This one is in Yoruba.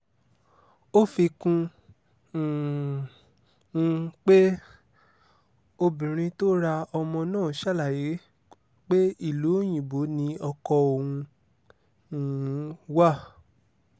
ó fi kún um un pé obìnrin tó ra ọmọ náà ṣàlàyé pé ìlú òyìnbó ni ọkọ òun um wà